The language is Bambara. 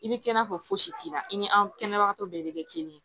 I bɛ kɛ i n'a fɔ fosi la i ni an kɛnɛbagatɔ bɛɛ bɛ kɛ kelen ye